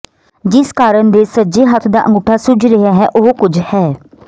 ਜਿਸ ਕਾਰਨ ਦੇ ਸੱਜੇ ਹੱਥ ਦਾ ਅੰਗੂਠਾ ਸੁੱਜ ਰਿਹਾ ਹੈ ਉਹ ਕੁਝ ਹੈ